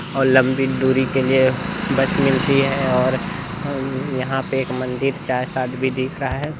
और लंबी दूरी के लिए बस मिलती है और अ-यहाँ पे एक मंदिर भी दिख रहा है।